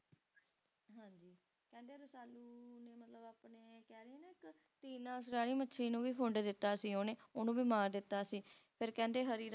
ਹਾਂਜੀ ਕਹਿੰਦੇ Rasalu ਨੇ ਆਪਣੇ ਕਹਿਲੋ ਨਾ ਇੱਕ ਤਿਨਾਸਰਾਹੀ ਮੱਛਲੀ ਨੂੰ ਵੀ ਖੁੰਢ ਦਿੱਤਾ ਸੀ ਉਹਨੇ ਉਹਨੂੰ ਵੀ ਮਾਰ ਦਿੱਤਾ ਸੀ ਤੇ ਕਹਿੰਦੇ ਹਰੀ ਰਾਜਾ